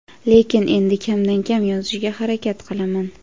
Lekin endi kam-kam yozishga harakat qilaman.